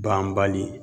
Banbali